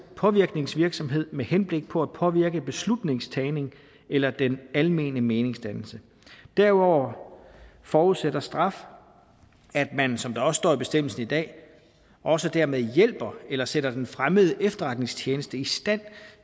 påvirkningsvirksomhed med henblik på at påvirke beslutningstagning eller den almene meningsdannelse derudover forudsætter straf at man som der også står i bestemmelsen i dag også dermed hjælper eller sætter den fremmede efterretningstjeneste i stand